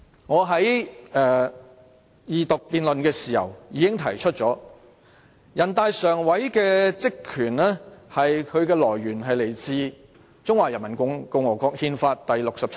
我在二讀辯論時已經提出，人大常委會的權力是來自《中華人民共和國憲法》第六十七條。